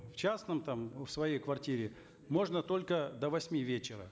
в частном там в своей квартире можно только до восьми вечера